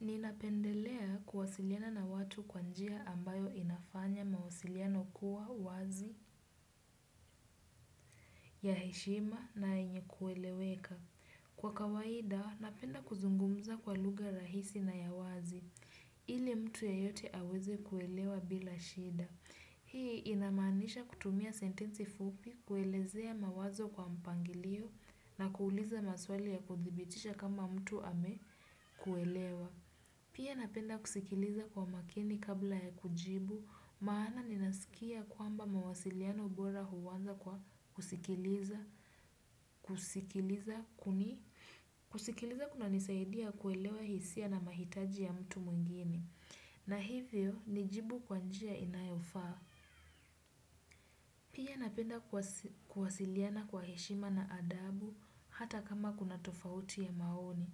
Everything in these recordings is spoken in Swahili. Ninapendelea kuwasiliana na watu kwa njia ambayo inafanya mawasiliano kuwa wazi ya heshima na yenye kueleweka. Kwa kawaida, napenda kuzungumza kwa lugha rahisi na ya wazi, ili mtu yoyote aweze kuelewa bila shida. Hii inamaanisha kutumia sentensi fupi, kuelezea mawazo kwa mpangilio na kuuliza maswali ya kuthibitisha kama mtu ame kuelewa. Pia napenda kusikiliza kwa makini kabla ya kujibu, maana ninasikia kwamba mawasiliano bora huwanza kwa kusikiliza kuna nisaidia kuelewa hisia na mahitaji ya mtu mwingini. Na hivyo, nijibu kwa njia inayofaa. Pia napenda kuwasiliana kwa heshima na adabu hata kama kuna tofauti ya maoni.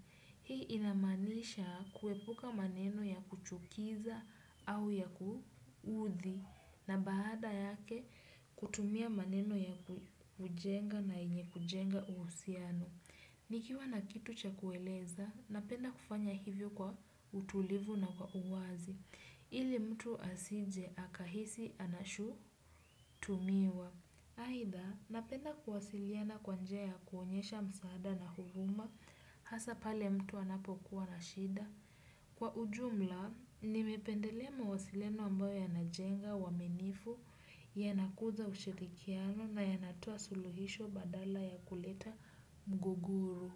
Hii ina maanisha kuepuka maneno ya kuchukiza au ya kuudhi na baada yake kutumia maneno ya kujenga na yenye kujenga uhusiano. Nikiwa na kitu cha kueleza, napenda kufanya hivyo kwa utulivu na kwa uwazi, ili mtu asije, akahisi, anashutumiwa. Haidha, napenda kuwasiliana kwa njia ya kuonyesha msaada na huruma, hasa pale mtu anapokuwa na shida. Kwa ujumla, nimependelea mawasileno ambayo yanajenga, uwaminifu, yanakuza ushirikiano na yanatoa suluhisho badala ya kuleta mgogoru.